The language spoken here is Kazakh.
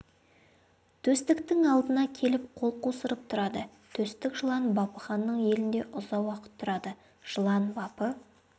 төстіктің алдына келіп қол қусырып тұрады төстік жылан бапы ханның елінде ұзақ уақыт тұрады жылан бапы